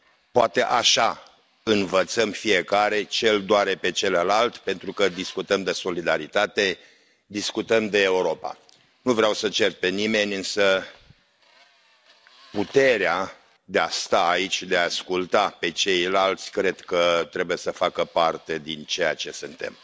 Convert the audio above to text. poate așa învățăm fiecare ce l doare pe celălalt, pentru că discutăm de solidaritate, discutăm de Europa. Nu vreau să cert pe nimeni, însă puterea de a sta aici și de a i asculta pe ceilalți cred că trebuie să facă parte din ceea ce suntem.